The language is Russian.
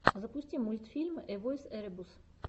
запусти мультфильмы эвойс эребус